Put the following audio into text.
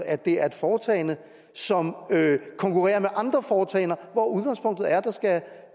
at det er et foretagende som konkurrerer med andre foretagender hvor udgangspunktet er